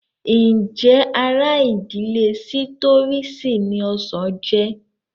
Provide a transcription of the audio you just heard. Ǹjẹ́ ara ìdílé sítírọ́ọ̀sì ni ọsàn jẹ́?